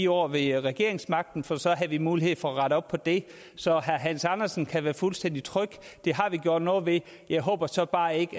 år ved regeringsmagten for så havde vi mulighed for at rette op på det så herre hans andersen kan være fuldstændig tryg det har vi gjort noget ved jeg håber så bare ikke